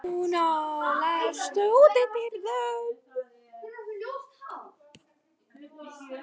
Hvað segirðu um þetta, Jón minn?